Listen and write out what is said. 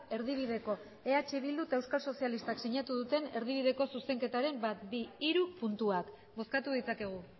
erdibideko eh bildu eta euskal sozialistak sinatu duten erdibideko zuzenketaren bat bi hiru puntuak bozkatu ditzakegu